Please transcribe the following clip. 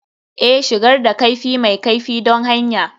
Ee, shigar da kaifi mai kaifi don hanya